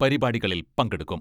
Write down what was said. പരിപാടികളിൽ പങ്കെടുക്കും.